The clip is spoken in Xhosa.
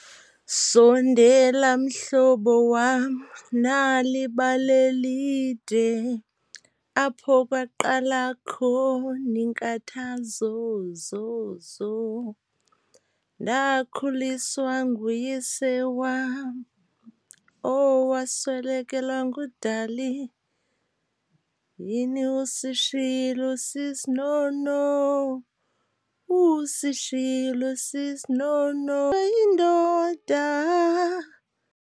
Sondela mhlobo wam nam nali ibali elide apho kwaqala akho iinkathazo . Ndakhuliswa nguyise wam owaswelekelwa ngudali. Yini usishiyile usisi Nono, usishiyile usisi Nono, yindoda.